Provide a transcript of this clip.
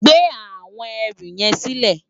Gbé áwòn èrú yèn silè